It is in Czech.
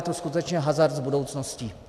To je skutečně hazard s budoucností.